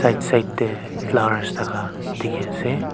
right side tae flowers thaka dikhiase.